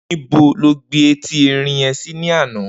Nibó ló gbin éti èrin yèn si làná?